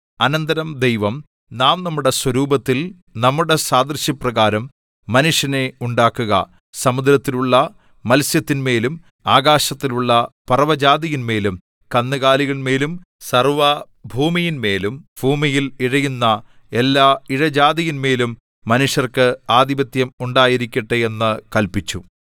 അനന്തരം ദൈവം നാം നമ്മുടെ സ്വരൂപത്തിൽ നമ്മുടെ സാദൃശ്യപ്രകാരം മനുഷ്യനെ ഉണ്ടാക്കുക സമുദ്രത്തിലുള്ള മത്സ്യത്തിന്മേലും ആകാശത്തിലുള്ള പറവജാതിയിന്മേലും കന്നുകാലികളിന്മേലും സർവ്വഭൂമിയിന്മേലും ഭൂമിയിൽ ഇഴയുന്ന എല്ലാ ഇഴജാതിയിന്മേലും മനുഷ്യർക്ക് ആധിപത്യം ഉണ്ടായിരിക്കട്ടെ എന്നു കല്പിച്ചു